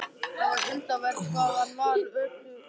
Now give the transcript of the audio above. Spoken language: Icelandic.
Það var undravert hvað hann var ötull við það.